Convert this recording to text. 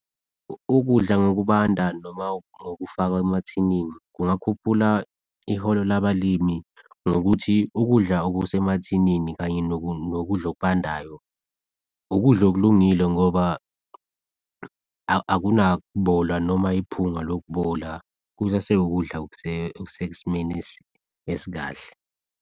Ukudla ngokubanda noma okufakwa emathinini kungakhuphula iholo labalimi ngokuthi, ukudla okusemathinini kanye nokudla okubandayo. Ukudla okulungile ngoba akunaku bola noma iphunga lokubola kusaseyukudla okusesimeni esikahle.